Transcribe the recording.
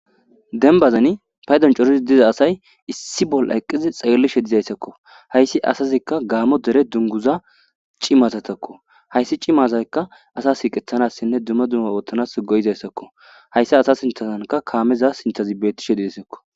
Dembazani paydon coridi diza asay issi bolla eqidi xelishe dizaysazako haysi asazika gamo dere dunguza cimazatako cima asayka asa siqethanas duma duma othanas go'izaysako haysa asa sinthazanka kameza sinthazika betishe desiko